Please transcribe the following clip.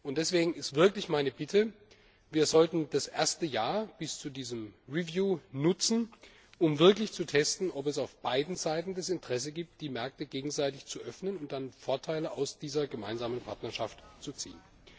Deswegen ist meine Bitte Wir sollten das erste Jahr bis zu diesem Review nutzen, um zu testen, ob es auf beiden Seiten das Interesse gibt, die Märkte gegenseitig zu öffnen und dadurch Vorteile aus dieser gemeinsamen Partnerschaft zu ziehen.